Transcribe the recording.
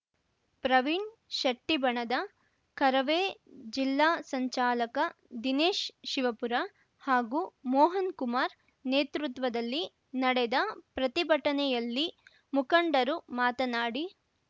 ಪ್ರವೀಣ್‌ ಶೆಟ್ಟಿಬಣದ ಕರವೇ ಜಿಲ್ಲಾ ಸಂಚಾಲಕ ದಿನೇಶ್‌ ಶಿವಪುರ ಹಾಗೂ ಮೋಹನ್‌ಕುಮಾರ್‌ ನೇತೃತ್ವದಲ್ಲಿ ನಡೆದ ಪ್ರತಿಭಟನೆಯಲ್ಲಿ ಮುಖಂಡರು ಮಾತನಾಡಿ